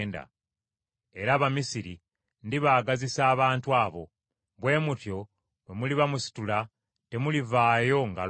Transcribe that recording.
“Era Abamisiri ndibaagazisa abantu abo; bwe mutyo bwe muliba musitula, temulivaayo ngalo nsa.